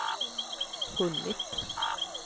hunnit